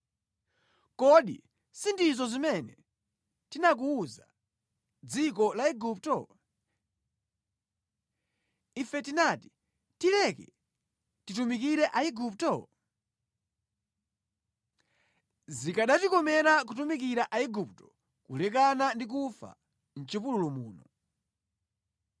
Kodi sindizo zimene tinakuwuza mʼdziko la Igupto? Ife tinati, ‘Tileke titumikire Aigupto?’ Zikanatikomera kutumikira Aigupto kulekana ndi kufa mʼchipululu muno.”